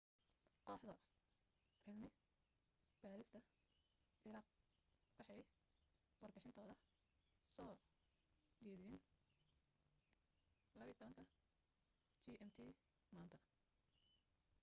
kooxda cilmi baadhista ciraaq waxay warbixintooda soo jeediyeen 12.00 gmt maanta